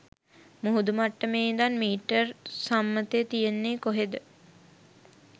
මුහුදු මට්ටමේ ඉඳන් මීටර් සම්මතය තියෙන්නේ කොහෙද?